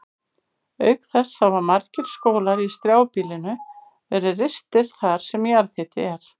Auk þess hafa margir skólar í strjálbýlinu verið reistir þar sem jarðhiti er.